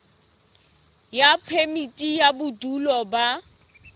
ya phemiti ya bodulo ba